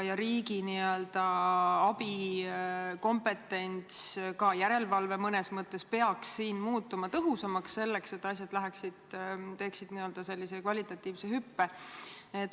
Riigi n-ö abikompetents, ka järelevalve mõnes mõttes, peaks siin muutuma tõhusamaks, et asjad teeksid kvalitatiivse hüppe.